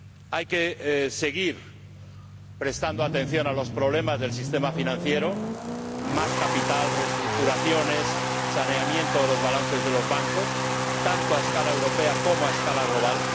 Hay que seguir prestando atención a los problemas del sistema financiero —más capital, reestructuraciones y saneamiento de los balances de los bancos—, tanto a escala europea como a escala global.